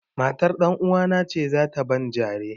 Matar ɗanuwana ce za ta ban jare.